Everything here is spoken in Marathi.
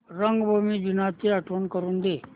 रंगभूमी दिनाची आठवण करून दे